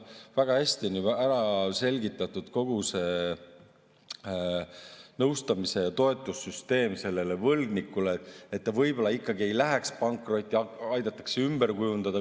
Väga hästi on ära selgitatud kogu see võlgniku nõustamise ja toetamise süsteem, et ta võib-olla ikkagi ei läheks pankrotti, aidatakse kõike seda ümber kujundada.